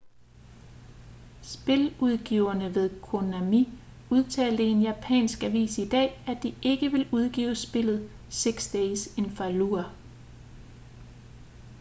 spiludgiverne ved konami udtalte i en japansk avis i dag at de ikke vil udgive spillet six days in fallujah